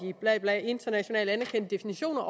internationale anerkendte definitioner